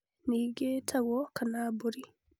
Brinjal ningĩ ĩĩtagwo egg plant kana mbũri